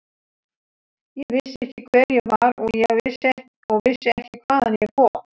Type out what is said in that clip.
Ég vissi ekki hver ég var og vissi ekki hvaðan ég kom.